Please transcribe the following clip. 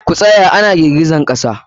Ku tsaya na girgizan kasa!